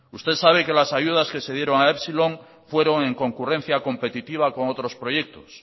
usted sabe que las ayudas que se dieron a epsilon fueron en concurrencia competitiva con otros proyectos